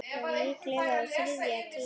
Já, líklega á þriðja tíma.